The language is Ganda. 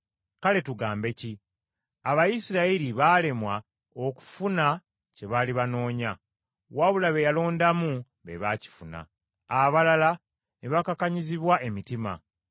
Kale tugambe ki? Abayisirayiri baalemwa okufuna kye baali banoonya, wabula be yalondamu be baakifuna, abalala ne bakakanyazibwa, emitima,